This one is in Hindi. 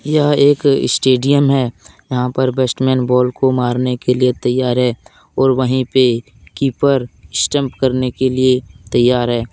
यह एक स्टेडियम है यहां पर बेस्टमैन बाल को मारने के लिए तैयार है और वहीं पे कीपर स्टंप करने के लिए तैयार है।